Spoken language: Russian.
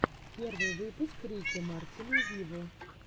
первый выпуск рики мартина виво